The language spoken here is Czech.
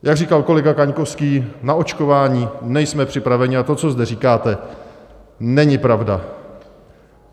Jak říkal kolega Kaňkovský, na očkování nejsme připraveni a to, co zde říkáte, není pravda.